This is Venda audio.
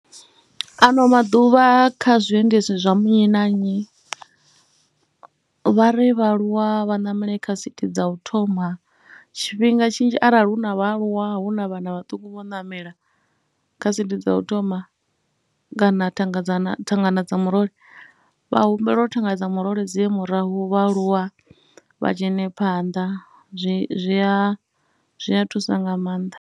Ano maḓuvha kha zwiendedzi zwa nnyi na nnyi, vha ri vhaaluwa vha ṋamele kha sithi dza u thoma. Tshifhinga tshinzhi arali hu na vhaaluwa, hu na vhana vhaṱuku vho namela kha sithi dza u thoma kana thanga dza, thangana dza murole vha humbelwa uri thanga dza murole dzi ye murahu, vhaaluwa vha dzhene phanḓa zwi a, zwi a thusa nga maanḓa.